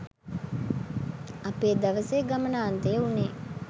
අපේ දවසේ ගමනාන්තය වුනේ.